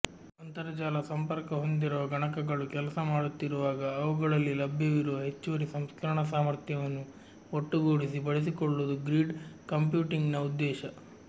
ಅಂತರಜಾಲ ಸಂಪರ್ಕ ಹೊಂದಿರುವ ಗಣಕಗಳು ಕೆಲಸಮಾಡುತ್ತಿರುವಾಗ ಅವುಗಳಲ್ಲಿ ಲಭ್ಯವಿರುವ ಹೆಚ್ಚುವರಿ ಸಂಸ್ಕರಣಾ ಸಾಮರ್ಥ್ಯವನ್ನು ಒಟ್ಟುಗೂಡಿಸಿ ಬಳಸಿಕೊಳ್ಳುವುದು ಗ್ರಿಡ್ ಕಂಪ್ಯೂಟಿಂಗ್ನ ಉದ್ದೇಶ